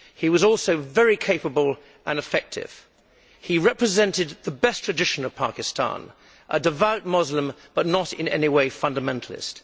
He was also very capable and effective. He represented the best tradition of Pakistan a devout Muslim but not in any way fundamentalist.